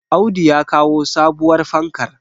Audu ya kawo sabuwar fankar